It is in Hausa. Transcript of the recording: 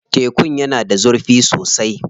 Tekun yana da zurfi sosai.